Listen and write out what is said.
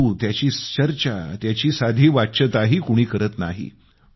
परंतु त्याची चर्चा साधी वाच्यताही कोणी करत नाही